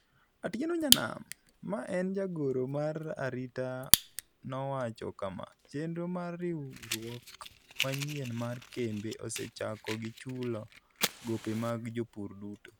Atieno Nyanam, ma en jagoro mar arita nowacho kama, "Chenro mar riwruok manyien mar kembe, osechako gi chulo gope mag jopur duto.